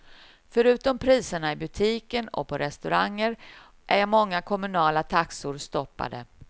Förutom priserna i butiker och på restauranger är många kommunala taxor stoppade.